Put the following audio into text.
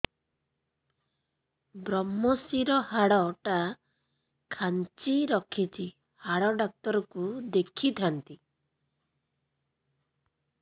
ଵ୍ରମଶିର ହାଡ଼ ଟା ଖାନ୍ଚି ରଖିଛି ହାଡ଼ ଡାକ୍ତର କୁ ଦେଖିଥାନ୍ତି